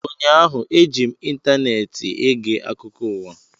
Ụnyaahụ, eji m ịntaneetị ege akụkọ ụwa